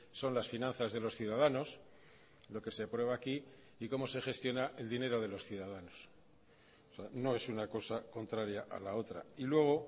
son las finanzas de los ciudadanos lo que se aprueba aquí y cómo se gestiona el dinero de los ciudadanos no es una cosa contraria a la otra y luego